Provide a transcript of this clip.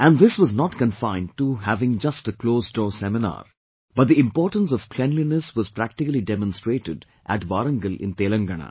And, this was not confined to having just a closed door seminar, but the importance of cleanliness was practically demonstrated at Warangal in Telangana